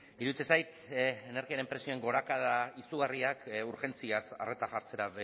iruditzen zait energiaren prezioen gorakada izugarriak urgentziaz arreta jartzera